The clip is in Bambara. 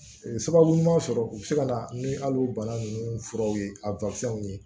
Sababu ɲuman sɔrɔ u bɛ se ka na ni hali o bana ninnu furaw ye a ye